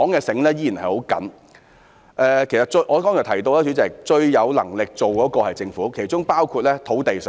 主席，我剛才提到，最有能力推動的是政府，其中包括土地使用。